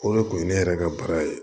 O de kun ye ne yɛrɛ ka baara ye